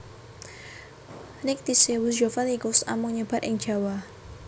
Nycticebus javanicus amung nyebar ing Jawa